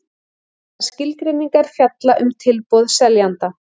Þessar skilgreiningar fjalla um tilboð seljanda.